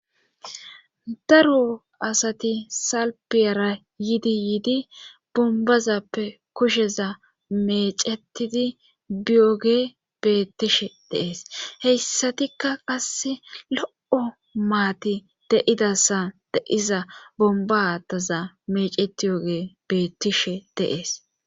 Daro asati salpiyara yiidi yiidi bombazappe kusheza mecetidi biyoge beettishe deees heyssatikka qasse lo7o maati deidasa deiza bomba aataza mecetiyoge beettishe deees.